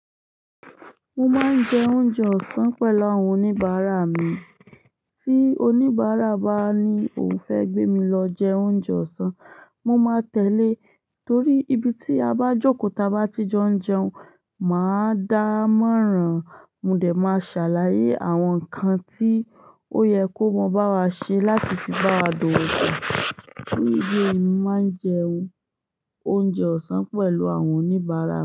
Mo máa ń jẹ oúnjẹ ọ̀sán pẹ̀lú àwọn oníbàárà mi. Tí oníbàárà bá ní òhun fẹ́ gbé mi lọ jẹ oúnjẹ ọ̀sán, mo máa tẹ̀lé. Torí ibi tí a bá jókòó tabá ti jo n jẹun, màá dámọ̀ràn. Mò dé máa ṣàlàyé àwọn ǹkan tí ó yẹ kó mọ báa ṣe láti fi bá wa dowó pọ. Torí idi eyi ni mo máa ń jẹun oúnjẹ ọ̀sán pẹ̀lú àwọn oníbàárà mi.